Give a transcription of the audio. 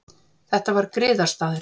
Þetta var griðastaður.